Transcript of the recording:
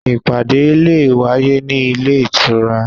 Ìpàdé le è wáyé ní ilé ìtura